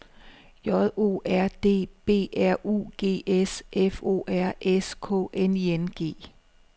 J O R D B R U G S F O R S K N I N G